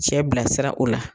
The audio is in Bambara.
Cɛ bilasira o la